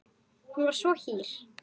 Hún var svo hýr.